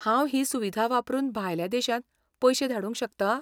हांव ही सुविधा वापरून भायल्या देशांत पयशें धाडूंक शकता?